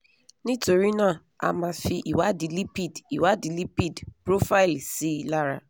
nítorí náà a máa fi ìwádìí lipid ìwádìí lipid profile sí lára